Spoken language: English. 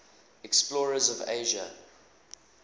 explorers of asia